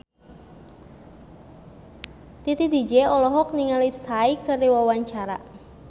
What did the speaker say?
Titi DJ olohok ningali Psy keur diwawancara